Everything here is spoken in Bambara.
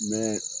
Mɛ